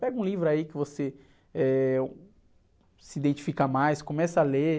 Pega um livro aí que você, eh, se identifica mais, começa a ler.